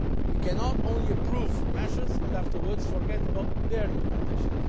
We cannot just approve measures and then afterwards forget about their implementation.